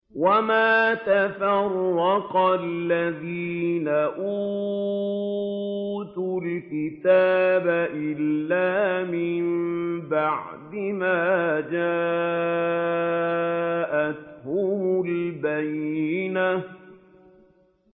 وَمَا تَفَرَّقَ الَّذِينَ أُوتُوا الْكِتَابَ إِلَّا مِن بَعْدِ مَا جَاءَتْهُمُ الْبَيِّنَةُ